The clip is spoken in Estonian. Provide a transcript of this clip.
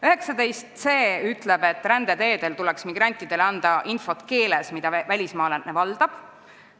19c ütleb, et rändeteedel tuleks migrandile anda infot keeles, mida välismaalane valdab.